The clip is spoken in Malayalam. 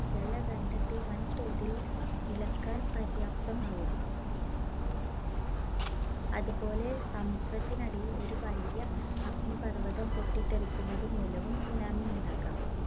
ജലഖണ്ഡത്തെ വൻതോതിൽ ഇളക്കാൻ പര്യാപ്തമാവും. അതുപോലെ സമുദ്രത്തിനടിയിൽ ഒരു വലിയ അഗ്നിപർവ്വതം പൊട്ടിത്തെറിക്കുന്നതു മൂലവും Tsunami യുണ്ടാകാം.